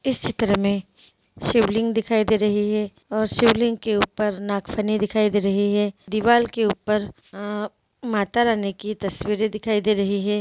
इस चित्र में शिवलिंग दिखाई दे रही है और शिवलिंग के ऊपर नागफनी दिखाई दे रही है दीवाल के ऊपर अ माता रानी की तस्वीरे दिखाई दे रही है।